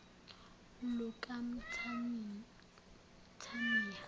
lukamthaniya